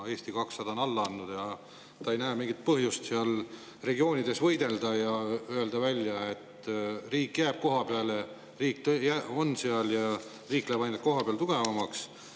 Eesti 200 on juba alla andnud ja ta ei näe mingit põhjust regioonides võidelda ja öelda, et riik jääb kohapeale, riik on seal ja riik läheb kohapeal ainult tugevamaks.